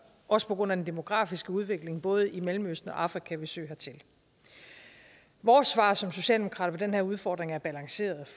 også på grund af den demografiske udvikling både i mellemøsten og afrika søge hertil vores svar som socialdemokrater på den her udfordring er balanceret